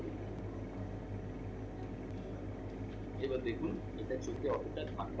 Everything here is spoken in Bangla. এবার দেখুন এটা চোখে অতটা ধাক্কা